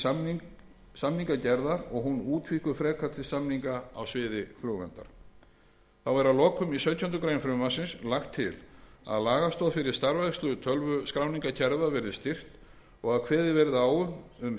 og hún útvíkkuð frekar til samninga á sviði flugverndar þá er að lokum í sautjándu grein frumvarpsins lagt til að lagastoð fyrir starfrækslu tölvuskráningarkerfa verði styrkt og að kveðið verði á um